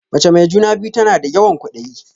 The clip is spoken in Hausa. Mace mai juna-biyu tana da yawan ƙwaɗayi.